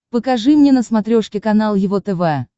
покажи мне на смотрешке канал его тв